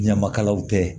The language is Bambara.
Ɲamakalaw tɛ